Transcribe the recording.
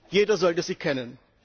Jeder sollte sie kennen!